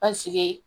Paseke